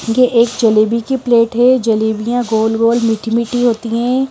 ये एक जलेबी की प्लेट है जलेबियां गोल-गोल मीठी-मीठी होती हैं।